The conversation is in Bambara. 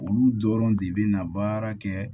Olu dɔrɔn de bɛna baara kɛ